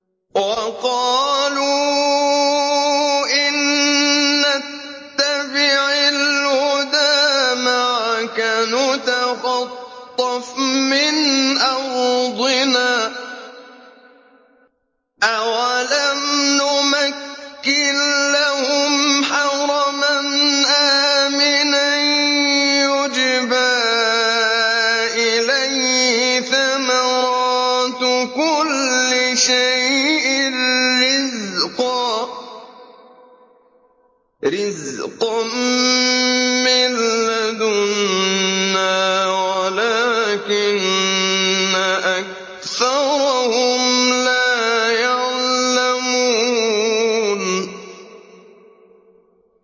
وَقَالُوا إِن نَّتَّبِعِ الْهُدَىٰ مَعَكَ نُتَخَطَّفْ مِنْ أَرْضِنَا ۚ أَوَلَمْ نُمَكِّن لَّهُمْ حَرَمًا آمِنًا يُجْبَىٰ إِلَيْهِ ثَمَرَاتُ كُلِّ شَيْءٍ رِّزْقًا مِّن لَّدُنَّا وَلَٰكِنَّ أَكْثَرَهُمْ لَا يَعْلَمُونَ